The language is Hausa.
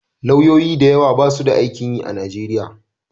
Lauyoyi da yawa basu da aikin yi a Nigeria.